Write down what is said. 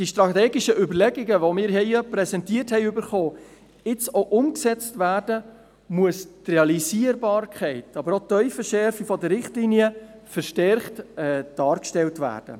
Damit die strategischen Überlegungen, die uns präsentiert wurden, jetzt auch umgesetzt werden, muss die Realisierbarkeit, aber auch die Tiefenschärfe der Richtlinien verstärkt dargestellt werden.